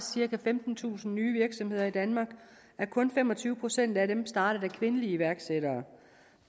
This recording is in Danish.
cirka femtentusind nye virksomheder i danmark men kun fem og tyve procent af dem er startet af kvindelige iværksættere